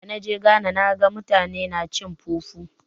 Da na je Ghana na ga mutane na cin fufu.